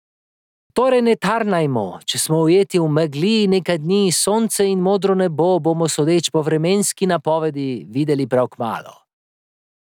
Torej ne tarnajmo, če smo ujeti v megli nekaj dni, sonce in modro nebo bomo sodeč po vremenski napovedi videli prav kmalu.